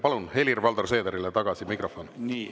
Palun anda mikrofon tagasi Helir-Valdor Seederile.